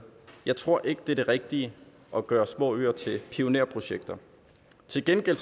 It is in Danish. jeg tror ikke at det er det rigtige at gøre små øer til pionerprojekter til gengæld